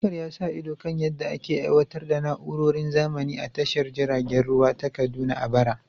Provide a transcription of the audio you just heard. Abubakar ya sa ido kan yadda ake aiwatar da na’urorin zamani a tashar jiragen ruwa ta Kaduna a bara.